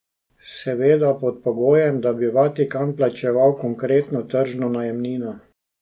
Seveda pod pogojem, da bi Vatikan plačeval konkretno tržno najemnino.